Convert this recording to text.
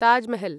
Taj Mahal